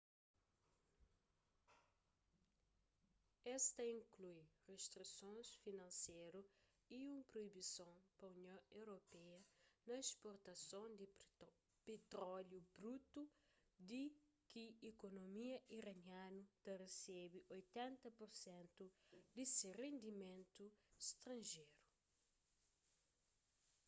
es ta inklui ristrisons finanseru y un proibison pa union europeia na sportason di petróliu brutu di ki ikunomia iranianu ta resebe 80% di se rendimentu stranjeru